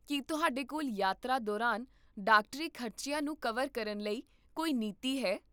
ਕੀ ਤੁਹਾਡੇ ਕੋਲ ਯਾਤਰਾ ਦੌਰਾਨ ਡਾਕਟਰੀ ਖ਼ਰਚਿਆਂ ਨੂੰ ਕਵਰ ਕਰਨ ਲਈ ਕੋਈ ਨੀਤੀ ਹੈ?